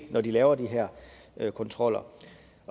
når de laver de her kontroller